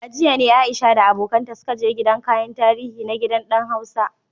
A jiya ne Aisha da abokanta suka je gidan kayan tarihi na Gidan Dan Hausa.